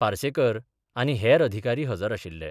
पार्सेकर आनी हेर अधिकारी हजर आशिल्ले.